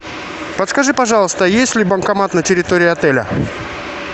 подскажи пожалуйста есть ли банкомат на территории отеля